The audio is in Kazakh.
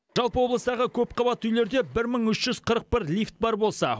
жалпы облыстағы көпқабатты үйлерде бір мың үш жүз қырық бір лифт бар болса